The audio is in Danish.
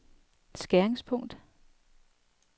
skæringspunkt